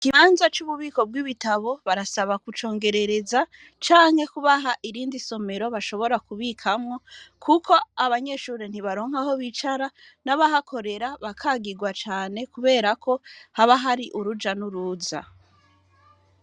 Ikibanza cububiko bwibitabu, barasaba kucongerereza ,canke kubaha irindi somero bashobora kubikamwo ,kuko abanyeshure ntibaronka Aho bicarako, nabahakorera bakagirwa cane kuberako haba ahari uruja nuruza.